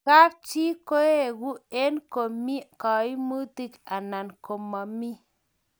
kap chi koegu eng komi kaimutik anan komami